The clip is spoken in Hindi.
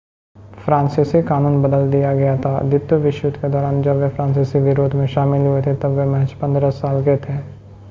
फ़्रांसीसी कानून बदल दिया गया था द्वितीय विश्व युद्ध के दौरान जब वे फ़्रांसीसी विरोध में शामिल हुए थे तब वे महज़ 15 साल के थे